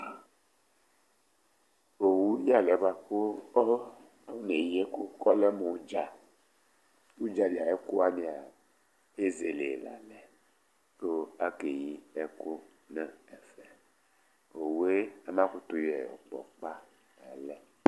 Owu yalɛ bʋakʋ afɔne yi ɛku kʋ ɔlɛ mʋ ʋdza Ʋdzali ayʋ ɛkʋ wani'a ezele la lɛ kʋ akeyi ɛkʋ nʋ ɛfɛ Owu ye ɔna kutu